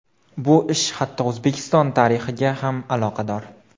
Bu ish hatto O‘zbekiston tarixiga ham aloqador.